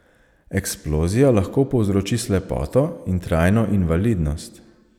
Eksplozija lahko povzroči slepoto in trajno invalidnost.